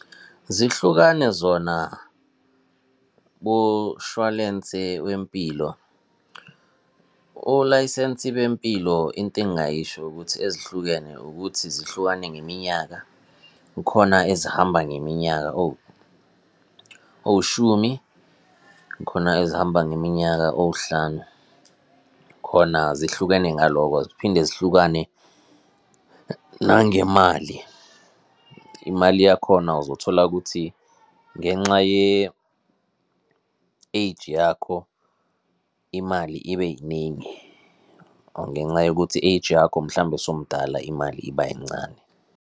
Zihlukane zona kushwalensi wempilo, o-license bempilo into engingayisho ukuthi ezihlukene ukuthi zihlukane ngeminyaka kukhona ezihamba ngeminyaka owushumi, kukhona ezihamba ngeminyaka owuhlanu. Khona zihlukene ngaloko. Ziphinde zihlukane nangemali, imali yakhona uzothola ukuthi ngenxa ye-age yakho imali ibe yiningi, or ngenxa yokuthi i-age yakho mhlambe sowumdala, imali iba yincane.